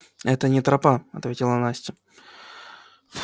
это не тропа ответила настя